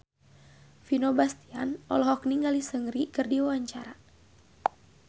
Vino Bastian olohok ningali Seungri keur diwawancara